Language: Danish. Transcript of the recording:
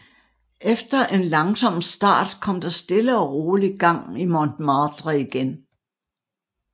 Efter en langsom start kom der stille og roligt gang i Montmartre igen